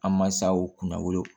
An mansaw kun na olu